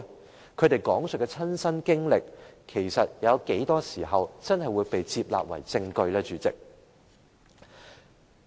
主席，他們所講述的親身經歷，又有多少時候會被接納為證據呢？